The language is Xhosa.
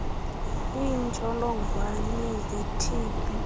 iintsholongwane ze tb